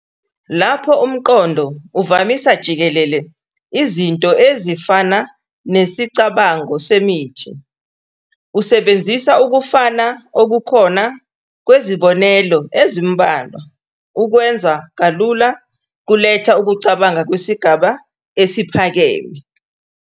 Lapho umqondo uvamisa jikelele Izinto ezifana nesicabango semuthi, usebenzisa ukufana okukhona kwezibonelo ezimbalwa, ukwenza kalula kuletha ukucabanga kwesigaba esiphakeme.